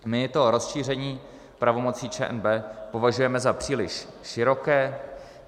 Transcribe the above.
My to rozšíření pravomocí ČNB považujeme za příliš široké.